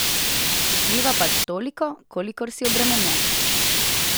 Vpliva pač toliko, kolikor si obremenjen.